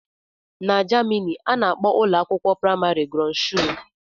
N'jemani ana akpọ ụlọakwụkwọ primari "grundschule"